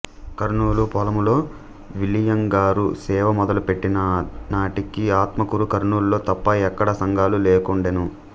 కర్నూలు పొలములో విల్లియంగారు సేవ మొదలుపెట్టిననాటికి ఆత్మకూరు కర్నూలులో తప్ప ఎక్కడా సంఘాలు లేకుండెను